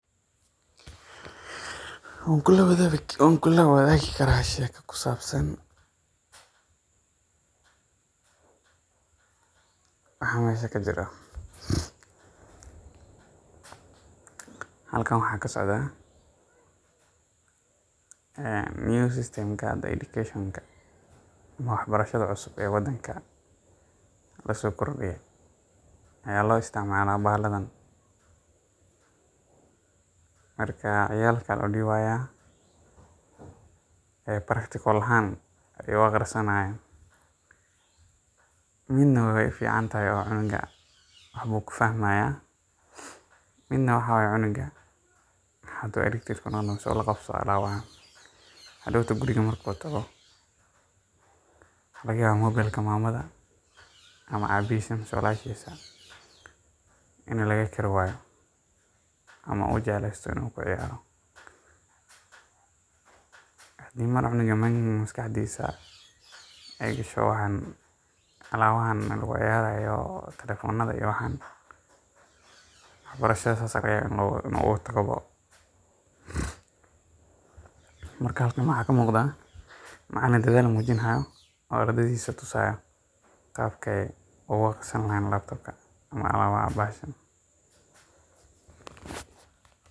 Waan kula wadaagi karaa sheeko ku saabsan waxa meeshaan ka jiro. Halkaan waxaa ka socdaa new system hadda ee education-ka ama waxbarashada cusub ee waddanka loo soo kordhiyey ayaa loo isticmaalaa bahaladan. Marka, ciyalka ayaa loo dhibayaa practical ahaan ayay u akhrisanayaan. Midna way u fiicantahay, oo cunuga waax ayuu ku fahmayaa, midna cunuga haddii uu electric phones-ka la qabsado wuu dhaawacayaa. Haddii uu markuu guriga tago, maxaa laga yaabaa? Mobile-ka hooyadiis ama aabbihiis ayaan laga kari waayo ama wuu jeclaan karaa inuu ku ciyaaro. Haddii markaa cunuga maskaxdiisa ay gasho alaabahan lagu ciyaarayo — oo telefoonadan iyo waxaas — waxbarashadii saas ayaa laga yaabaa inuu ka tago. Marka, maxaa muuqda? Macallin dadaal muujinayo oo ardaydiisa tusaayo qaabka ay ugu akhrisan lahaayeen laptopka ama alaabaha anfacsa.